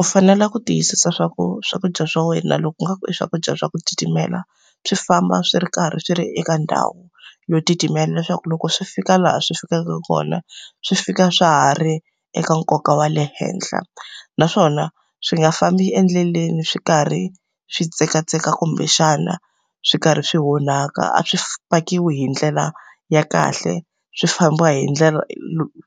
U fanele ku tiyisisa swa ku swakudya swa wena loko ingaku i swakudya swa ku titimela, swi famba swi ri karhi swi ri eka ndhawu yo titimela. Leswaku loko swi fika laha swi fikaka kona, swi fika swa ha ri eka nkoka wa le henhla. Naswona swi nga fambi endleleni swi karhi swi tsekatseka kumbexana swi karhi swi onhaka, a swi fakiwe hi ndlela ya kahle, swi famba hi ndlela